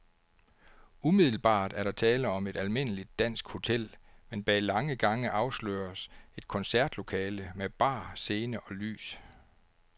Umiddelbart er der tale om et almindeligt dansk hotel, men bag lange gange afsløres et koncertlokale med bar, scene og lys.